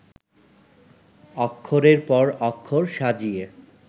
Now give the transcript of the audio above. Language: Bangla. অক্ষরের পর অক্ষর সাজিয়ে